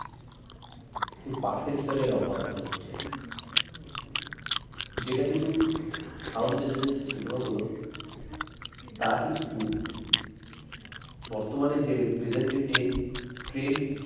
সেই perfection এর অভাব মনে হচ্ছে যেটা কিন্তু south region এর যে cinema গুলো তা কিন্তু বর্তমানে যে present এ trend